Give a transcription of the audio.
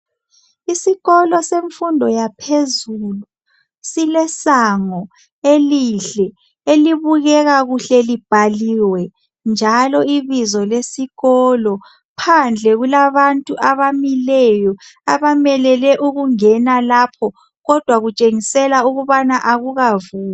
Isikolo semfundo yaphezulu silesango elihke, elibukekakuhke libhaliwe njalo ibizo lesikolo. Phandle kulabantu abamileyo. Abamelele ukungena lapho kodwa kutshengisela akukavulwa.